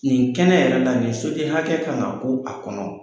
Nin kɛnɛ yɛrɛ la nin soden hakɛ kan ka ku a kɔnɔ.